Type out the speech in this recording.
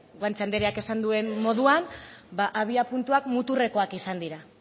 guanche andereak esan duen moduan abiapuntuak muturrekoak izan dira